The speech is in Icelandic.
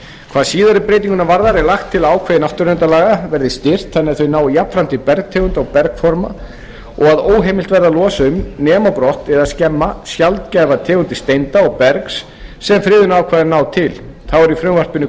hvað síðari breytinguna varðar er lagt til að ákvæði náttúruverndarlaga verði styrkt þannig að þau nái jafnframt til bergtegunda og bergforma og að óheimilt verði að losa um nema brott eða skemma sjaldgæfar tegundir steinda og bergs sem friðunarákvæðin ná til þá er í frumvarpinu